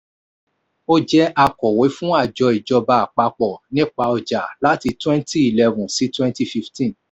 ó jẹ́ akòwé fún àjọ ijọba apapọ nípa ọjà láti 2011 sí 2015.